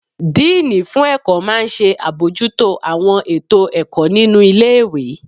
Díìnì fún ẹ̀kọ́ máa n ṣe àbojútó àwọn ètò ẹ̀kọ́ nínu ilé-ìwé